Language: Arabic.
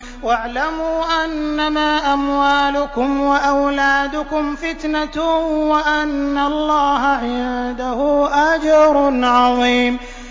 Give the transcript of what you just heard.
وَاعْلَمُوا أَنَّمَا أَمْوَالُكُمْ وَأَوْلَادُكُمْ فِتْنَةٌ وَأَنَّ اللَّهَ عِندَهُ أَجْرٌ عَظِيمٌ